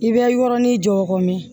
I bɛ yɔrɔnin jɔ kɔmin